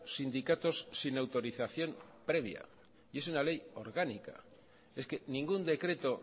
sindicatos sin autorización previa y es una ley orgánica es que ningún decreto